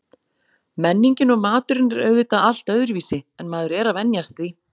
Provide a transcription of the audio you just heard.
Menningin og maturinn er auðvitað allt öðruvísi en maður er að venjast því.